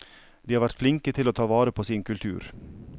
De har vært flinke til å ta vare på sin kultur.